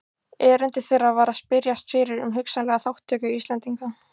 Erindi þeirra var að spyrjast fyrir um hugsanlega þátttöku Íslendinga.